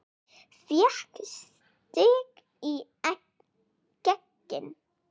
Fékk sitt í gegn.